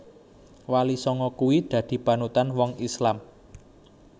Wali sanga kui dadi panutan wong Islam